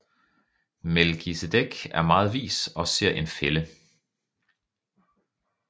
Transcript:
Melkisedek er meget vis og ser en fælde